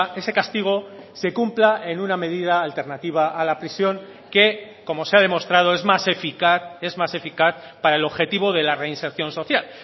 ese castigo se cumpla en una medida alternativa a la prisión que como se ha demostrado es más eficaz es más eficaz para el objetivo de la reinserción social